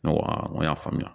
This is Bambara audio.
Ne ko a n ko y'a faamuya